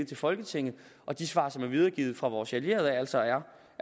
til folketinget og de svar som er videregivet fra vores allierede altså er